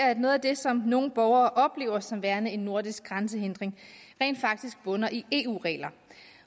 at noget af det som nogle borgere oplever som værende en nordisk grænsehindring rent faktisk bunder i eu regler